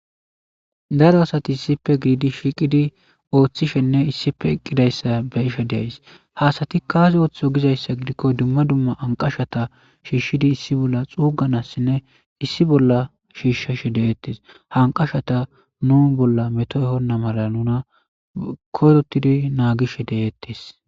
daro asati issife gididi shiiqidi ooththishenne issife eqqidayssa be isha deays haasati kaasi ooththo gizayssa gidikko dumma dumma anqashata shiishshidi issi bolla xuuganassinne issi bolla shiishshashe deeettes hanqashata nu bolla meto ehonna mala nuna korotidi naagishe deettes